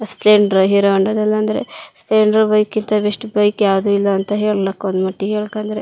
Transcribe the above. ಸ್ಪ್ಲೆಂಡಡ್ರು Hero Honda ದಲಂದ್ರೆ ಸ್ಪ್ಲೆಂಡ್ರ bike ಕಿಂತ ಬೆಸ್ಟ್ ಬೈಕ್ ಯಾವದು ಇಲ್ಲಾ ಅಂತ ಹೇಳ್ಲಕ್ ಒಂದ ಮಟ್ಟಿಗೆ ಹೇಳಕೊಂಡ್ರೆ.